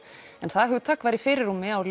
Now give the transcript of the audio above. en það hugtak var í fyrirrúmi á